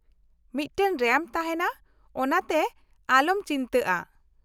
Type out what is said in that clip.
ᱢᱤᱫᱴᱟᱝ ᱨᱮᱢᱯ ᱛᱟᱦᱮᱱᱟ, ᱚᱱᱟᱛᱮ ᱟᱞᱚᱢ ᱪᱤᱱᱛᱟᱹᱜᱼᱟ ᱾